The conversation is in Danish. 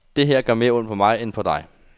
Det her gør mere ondt på mig end på dig.